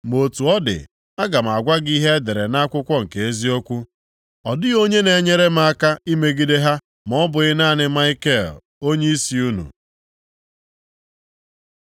ma otu ọ dị, aga m agwa gị ihe e dere nʼakwụkwọ nke eziokwu. (Ọ dịghị onye na-enyere m aka imegide ha ma ọ bụghị naanị Maikel onyeisi unu.